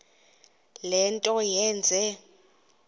le nto yenze